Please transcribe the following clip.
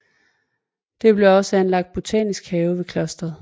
Der blev også anlagt botanisk have ved klosteret